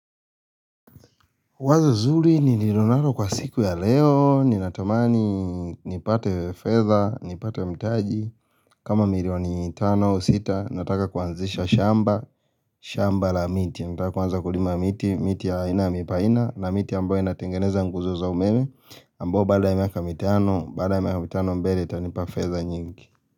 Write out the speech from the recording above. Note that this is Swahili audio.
Wazo zuri nililonalo kwa siku ya leo, ninatamani nipate fedha, nipate mtaji, kama milioni tano sita, nataka kuanzisha shamba, shamba la miti, nataka kuanza kulima miti, miti ya aina ya mipaina, na miti ambayo inatengeneza nguzo za umeme, ambao baada ya mitano, baada ya miaka mitano mbele, itanipa fedha nyingi.